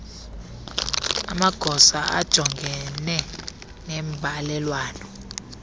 amagosa ajongene nembalelwano